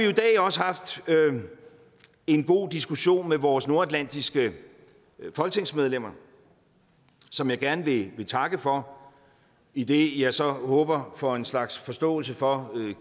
i dag også haft en god diskussion med vores nordatlantiske folketingsmedlemmer som jeg gerne vil takke for idet jeg så håber på en slags forståelse for